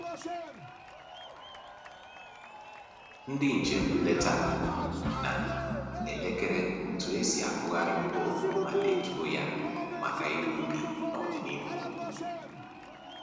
Ndị njem nleta na-elekere otu e si akụgharị mkpụrụ ma detuo ya maka ịrụ ubi n'ọdịnihu